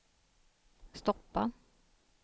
stoppa